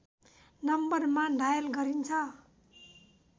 नम्बरमा डायल गरिन्छ